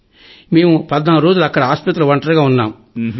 sir మేము 14 రోజులు అక్కడ ఆస్పత్రిలో ఒంటరిగా ఉన్నాం